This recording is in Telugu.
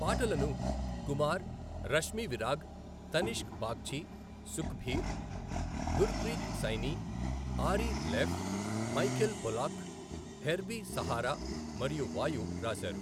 పాటలను Kumar, Rashmi Virag, Tanishk Bagchi, Sukhbir, Gurpreet Saini, Ari Leff, Michael Pollack, Herbie Sahara మరియు వాయు రాశారు.